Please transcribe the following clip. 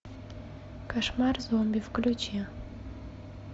кошмар зомби включи